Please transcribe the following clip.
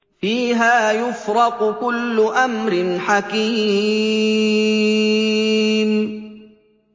فِيهَا يُفْرَقُ كُلُّ أَمْرٍ حَكِيمٍ